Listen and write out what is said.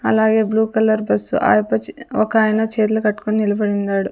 అలాగే blue colour bus Ayyappa ఒకాయన చేతులు కట్టుకొని నిలబడి ఉన్నాడు.